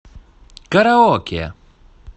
караоке